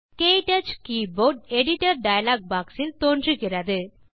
க்டச் keyboard editor dialog box தோன்றுகிறது